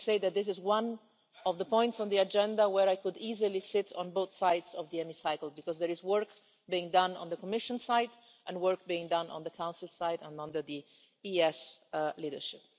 Let me say that this is one of the points on the agenda where I could easily sit on both sides of the Chamber, because there is work being done on the Commission side and work being done on the Council side, as well as under the EEAS leadership.